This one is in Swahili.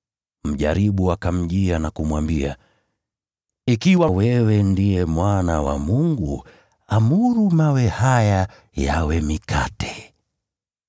Mjaribu akamjia na kumwambia, “Ikiwa wewe ndiye Mwana wa Mungu, amuru mawe haya yawe mikate.”